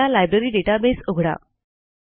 आपला library database उघडा